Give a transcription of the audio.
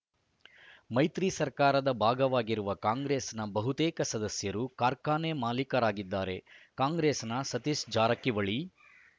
ಮೈತ್ರಿ ಸರ್ಕಾರದ ಭಾಗವಾಗಿರುವ ಕಾಂಗ್ರೆಸ್‌ನ ಬಹುತೇಕ ಸದಸ್ಯರು ಕಾರ್ಖಾನೆ ಮಾಲೀಕರಾಗಿದ್ದಾರೆ ಕಾಂಗ್ರೆಸ್‌ನ ಸತೀಶ್‌ ಜಾರಕಿಹೊಳಿ